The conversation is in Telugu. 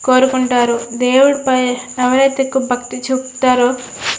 కోరుకుంటారు దేవుడి పైన ఎవరైతే ఎక్కువ భక్తి చూపుతారో --